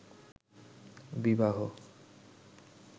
বিবাহ